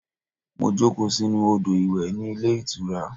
Mo jókòó sínú odo-iwe ní ilé ìtura.